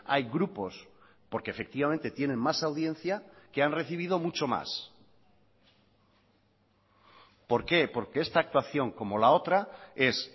hay grupos porque efectivamente tienen más audiencia que han recibido mucho más por qué porque esta actuación como la otra es